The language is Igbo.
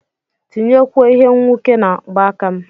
tinyekwuo Ihe nwuke na mgbaaka m